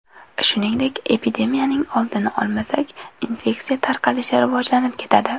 Shuningdek, epidemiyaning oldini olmasak, infeksiya tarqalishi rivojlanib ketadi.